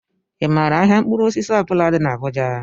ị maara ahịa mkpụrụ osisi ọ bula dị n'Abuja?